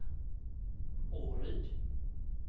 Åryd